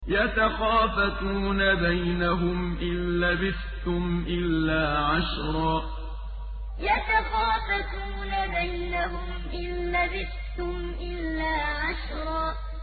يَتَخَافَتُونَ بَيْنَهُمْ إِن لَّبِثْتُمْ إِلَّا عَشْرًا يَتَخَافَتُونَ بَيْنَهُمْ إِن لَّبِثْتُمْ إِلَّا عَشْرًا